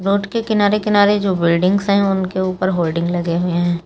Road के किनारे किनारे जो बिल्डिंग्स है उनके ऊपर होर्डिग लगे हुए हैं।